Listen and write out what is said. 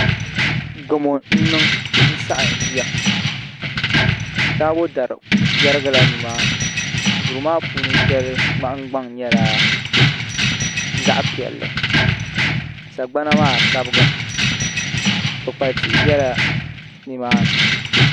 Gamo n niŋ n saɣam yiya taabo dari yɛrigila nimaani duri maa puuni shɛli nahagbaŋ nyɛla zaɣ piɛlli sagbana maa sabigimi kpukpali tihi biɛla nimaani